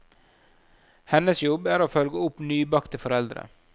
Hennes jobb er å følge opp nybakte foreldre.